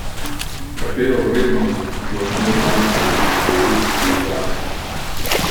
Katero vrednost bo imel dvajseti številski izraz?